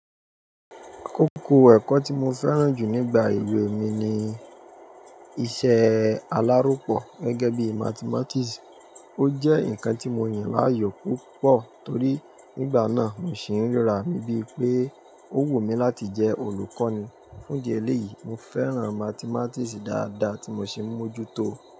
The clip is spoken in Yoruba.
Kókó ẹ̀kọ́ tí mo fẹ́ràn jù nígbà ewé mi ni iṣẹ́ aláròpọ̀ gẹ́gẹ́ bí Mathematics. Ó jẹ́ ǹnkan tí mo yàn láàyò púpọ̀ torí nígbà náà mo sì ń ra bí pé ó wù mí láti jẹ́ olùkọ́ ni. Fún idié eléyìí, mo fẹ́ràn Mathematics dáadáa tí mo sì ń mójú tó o.